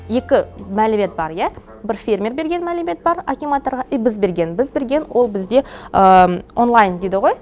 екі мәлімет бар ия бірі фермер берген мәлімет бар акиматорға и біз берген біз берген ол бізде онлайн дейді ғой